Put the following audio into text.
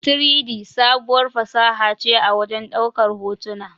3-D, sabuwar fasaha ce a wajen ɗaukar hotuna.